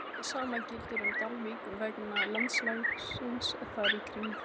Hið sama gildir um Dalvík vegna landslagsins þar í kring.